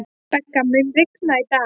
Begga, mun rigna í dag?